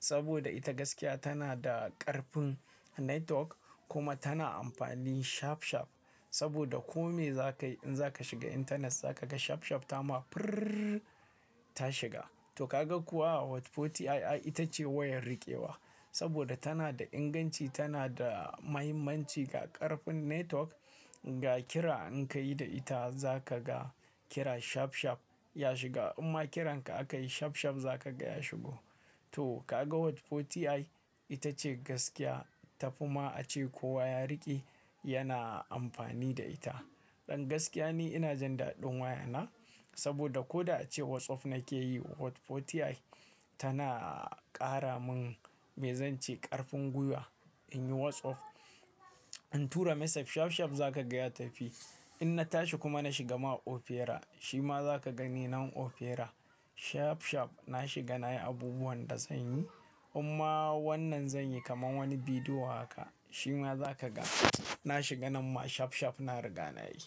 Saboda ita gaskiya tana da ƙarfin network kuma tana amfani shafshaf. Saboda kome za ka yi in za ka shiga intanet za ka ga shafshaf ta ma firrr ta shiga. To kaga kuwa Hot 40i ai ita ce wayar riƙewa. Saboda tana da inganci, tana da mahimmanci ga ƙarfin network, ga kira in ka yi da ita za ka ga kira shafshaf ya shiga. Imma kiran ka aka yi shafshaf za ka ga ya shigo. To kaga Hot 40i ita ce gaskiya tafi ma a ce kowa ya riƙe yana amfani da ita. Dan gaskiya ne ina jin daɗin waya na. Saboda ko da ace WhatsApp na ke yi Hot 40i tana ƙara min me zance ƙarfin gwiwa in yi WhatsApp. In tura message shafshaf za ka ga ya tafi. In na tashi kuma na shiga ma opera, shi ma za ka gani nan opera shafshaf na shiga nayi abubuwan da zan yi. Imma wannan zan yi kaman wani bidiyo haka shi ma za ka ga na shiga nan ma shafshaf na riga na yi.